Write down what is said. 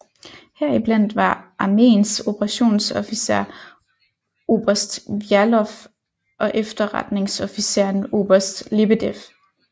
Heriblandt var armeens operationsofficer oberst Vjalov og efterretningsofficeren oberst Lebedev